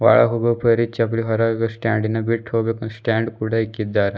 ಒಳಗಗೋರಿಗ್ ಚಪ್ಲಿ ಸ್ಟಾಂಡ್ ಕೂಡ ಇಕ್ಕಿದ್ದಾರೆ.